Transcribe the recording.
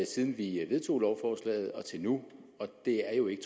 siden vi vedtog lovforslaget og til nu og det er jo ikke